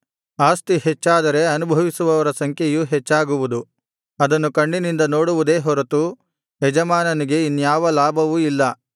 ಆಸ್ತಿ ಹೆಚ್ಚಾದರೆ ಅನುಭವಿಸುವವರ ಸಂಖ್ಯೆಯೂ ಹೆಚ್ಚಾಗುವುದು ಅದನ್ನು ಕಣ್ಣಿನಿಂದ ನೋಡುವುದೇ ಹೊರತು ಯಜಮಾನನಿಗೆ ಇನ್ಯಾವ ಲಾಭವೂ ಇಲ್ಲ